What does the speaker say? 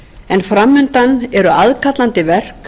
en fram undan eru aðkallandi verk